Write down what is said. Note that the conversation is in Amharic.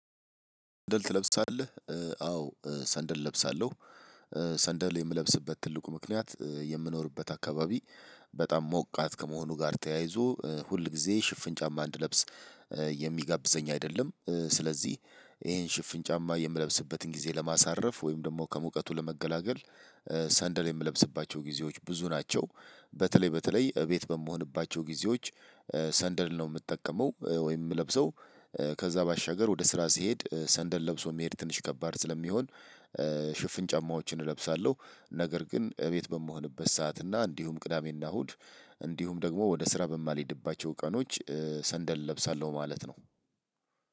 ሰንደል ትለብሳለህ? አዎ ሰንደል እለብሳለሁ። ሰንደል የምለብስበት ትልቁ ምክንያት የምኖርበት አካባቢ በጣም ሞቃት ከመሆኑ ጋር ተያይዞ ሁል ጊዜ ሽፍን ጫማ እንድለብስ የሚጋብዘኝ አይደለም። ስለዚህ ይሄን ሽፍን ጫማ የምለብስበትን ጊዜ ለማሳረፍ ወይም ደግሞ ከሙቀቱ ለመገላገል ሰንደል የምለብስባቸው ጊዜዎች ብዙ ናቸው። በተለይ በተለይ እቤት በመሆንባቸው ጊዜዎች ሰንደል ነው የምጠቀመው ወይም ለብሰው። ከዛ ባሻገር ወደ ስራ ስሄድ ሰንደል ለብሶ መሄድ ትንሽ ከባድ ስለሚሆን ሽፍን ጫማዎችን እለብሳለሁ። ነገር ግን እቤት በምሆንበት ሰዓት እና እንዲሁም ቅዳሜና እሁድ እንዲሁም ደግሞ ወደ ስራ በማልሄድባቸው ቀኖች ሰንደል እለብሳለሁ ማለት ነው።